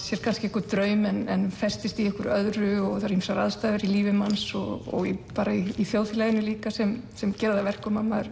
sér kannski einhvern draum en festist í einhverju öðru og það eru ýmsar aðstæður í lífi manns og bara í þjóðfélaginu líka sem sem gera það að verkum að maður